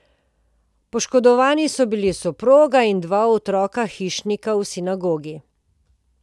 Poškodovani so bili soproga in dva otroka hišnika v sinagogi.